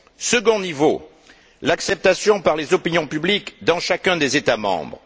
Second niveau l'acceptation par les opinions publiques dans chacun des États membres.